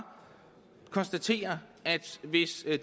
konstatere at hvis